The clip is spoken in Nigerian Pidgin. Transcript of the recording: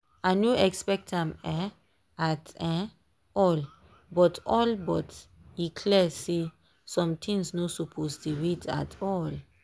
i no expect am um at um all but all but e clear say some things no suppose dey wait at all.